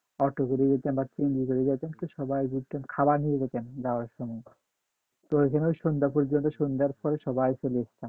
auto করে যেতাম but সবাই ঘুরতাম খাবার নিয়ে যাইতাম যাওয়ার সময় প্রয়োজনে সন্ধ্যা পর্যন্ত সন্ধ্যার পরে সবাই চলে আসতাম